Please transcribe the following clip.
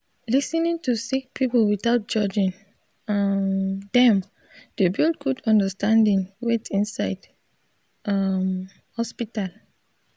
lis ten ing to sik pipul witout judging um dem dey build gud understanding wait inside um hosptital